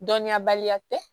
Dɔnniyabaliya tɛ